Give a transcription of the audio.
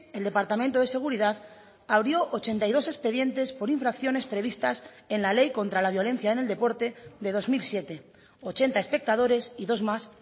el departamento de seguridad abrió ochenta y dos expedientes por infracciones previstas en la ley contra la violencia en el deporte de dos mil siete ochenta a espectadores y dos más